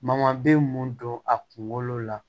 Mankan be mun don a kunkolo la